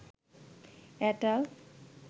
এটাল